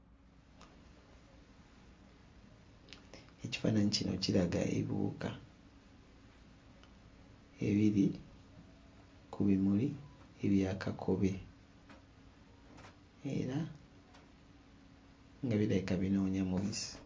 Ekifaananyi kino kiraga ebiwuka ebiri ku bimuli ebya kakobe era nga birabika binoonya mubisi